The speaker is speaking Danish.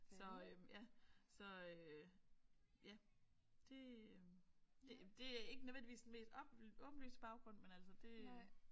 Så øh ja så øh ja det det det er ikke nødvendigvis den mest op åbenlyse baggrund men altså det